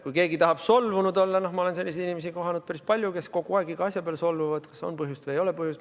Kui keegi tahab solvunud olla – noh, ma olen kohanud päris palju selliseid inimesi, kes kogu aeg iga asja peale solvuvad, kas on põhjust või ei ole põhjust.